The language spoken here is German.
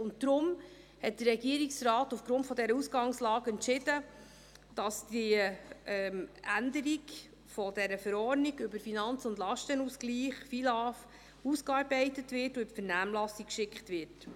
Deshalb entschied der Regierungsrat aufgrund dieser Ausgangslage, dass die Änderung der FILAV ausgearbeitet und in die Vernehmlassung geschickt wird.